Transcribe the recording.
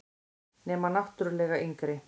Nema náttúrlega yngri.